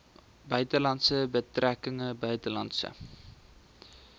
buitelandse betrekkinge buitelandse